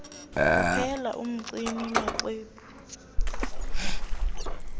kuphela umgcini maxwebhu